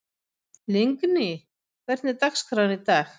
Lingný, hvernig er dagskráin í dag?